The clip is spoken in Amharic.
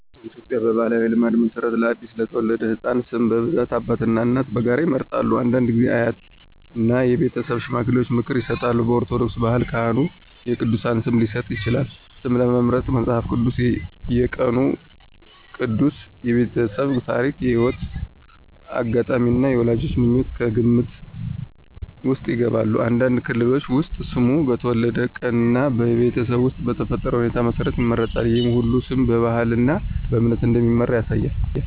በኢትዮጵያ ባሕላዊ ልማድ መሠረት ለአዲስ የተወለደ ሕፃን ስም በብዛት አባትና እናት በጋራ ይመርጣሉ። አንዳንድ ጊዜ አያትና የቤተሰብ ሽማግሌዎች ምክር ይሰጣሉ። በኦርቶዶክስ ባህል ካህኑ የቅዱሳን ስም ሊሰጥ ይችላል። ስም ለመምረጥ መጽሐፍ ቅዱስ፣ የቀኑ ቅዱስ፣ የቤተሰብ ታሪክ፣ የሕይወት አጋጣሚ እና የወላጆች ምኞት ከግምት ውስጥ ይገባሉ። አንዳንድ ክልሎች ውስጥ ስሙ በተወለደበት ቀን እና በቤተሰብ ውስጥ በተፈጠረ ሁኔታ መሠረት ይመረጣል። ይህ ሁሉ ስም በባህልና በእምነት እንደሚመራ ያሳያል።